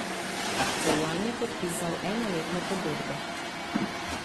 Celjan je podpisal enoletno pogodbo.